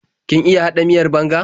Kin iya haɗa miyar banga?